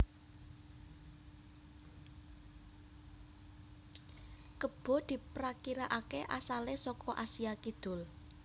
Kebo diprakirakaké asalé saka Asia Kidul